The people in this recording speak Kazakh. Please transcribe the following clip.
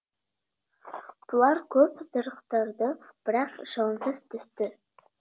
бұлар көп зарықтырды бірақ шығынсыз түсті